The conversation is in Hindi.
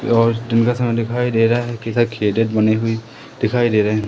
और दिन का समय दिखाई दे रहा है कैसा बनी हुई दिखाई दे रहे हैं।